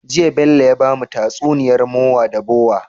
Jiya Bello ya bamu tatsuniyar mowa da bowa